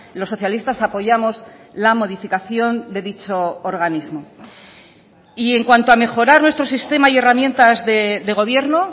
los socialistas apoyamos la modificación de dicho organismo y en cuanto a mejorar nuestro sistema y herramientas de gobierno